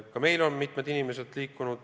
Ka meil on mitmed inimesed sinna liikunud.